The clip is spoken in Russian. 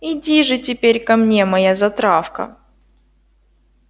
иди же теперь ко мне моя затравка